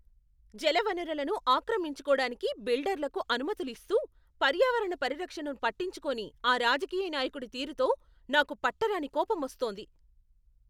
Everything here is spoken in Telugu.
జలవనరులను ఆక్రమించుకోడానికి బిల్డర్లకు అనుమతులు ఇస్తూ, పర్యావరణ పరిరక్షణను పట్టించుకోని ఆ రాజకీయ నాయకుడి తీరుతో నాకు పట్టరాని కోపమొస్తోంది.